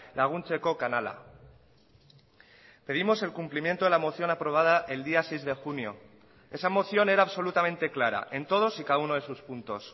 laguntzeko kanala pedimos el cumplimiento de la moción aprobada el día seis de junio esa moción era absolutamente clara en todos y cada uno de sus puntos